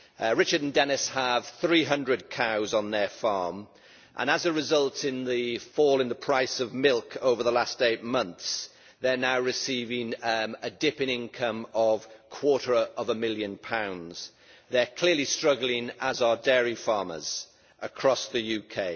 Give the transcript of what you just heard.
Richard and Dennis have 300 cows on their farm and as a result of the fall in the price of milk over the last eight months they are now receiving a dip in income of a quarter of a million pounds. They are clearly struggling, as are dairy farmers across the UK.